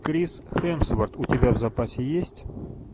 крис хемсворт у тебя в запасе есть